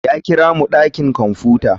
Ya kira mu dakin kwamfuta.